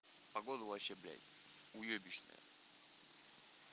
погода вообще блядь уёбищная